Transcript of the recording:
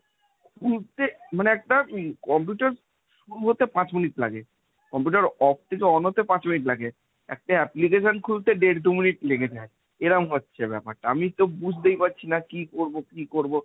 খুলতে মানে একটা computer শুরু হতে পাঁচ মিনিট লাগে। computer off থেকে on হতে পাঁচ মিনিট লাগে। একটা application খুলতে দেড় দু মিনিট লেগে যায়। এরম হচ্ছে ব্যাপারটা। আমি তো বুঝতেই পারছি না কি করব কি করব।